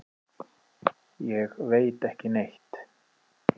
Ég veit ekki neitt.